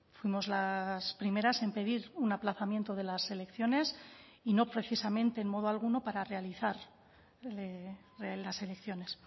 fuimos las primeras en pedir un aplazamiento de las elecciones y no precisamente en modo alguno para realizar las elecciones